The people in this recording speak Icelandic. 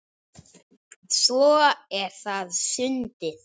Svo er það sundið.